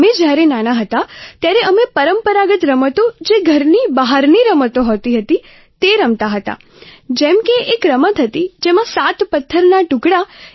અમે જ્યારે નાનાં હતાં ત્યારે અમે પરંપરાગત રમતો જે ઘરની બહારની રમતો હોતી હતી તે રમતાં હતાં જેમ કે એક રમત હતી જેમાં સાત પથ્થરના ટુકડા